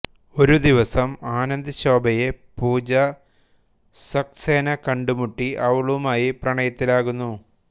ഒരു ദിവസം ആനന്ദ് ശോഭയെ പൂജ സക്സേന കണ്ടുമുട്ടി അവളുമായി പ്രണയത്തിലാകുന്നു